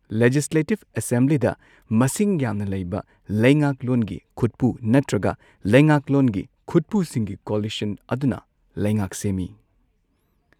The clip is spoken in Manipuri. ꯂꯦꯖꯤꯁꯂꯦꯇꯤꯚ ꯑꯦꯁꯦꯝꯕ꯭ꯂꯤꯗ ꯃꯁꯤꯡ ꯌꯥꯝꯅ ꯂꯩꯕ ꯂꯥꯉꯥꯛꯂꯣꯟꯒꯤ ꯈꯨꯠꯄꯨ ꯅꯠꯇ꯭ꯔꯒ ꯂꯩꯉꯥꯛꯂꯣꯟꯒꯤ ꯈꯨꯠꯄꯨꯁꯤꯡꯒꯤ ꯀꯣꯑꯣꯂꯤꯁꯟ ꯑꯗꯨꯅ ꯂꯩꯉꯥꯛ ꯁꯦꯝꯏ꯫